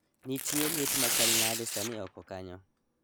Nitie liet machal nade sani oko kanyo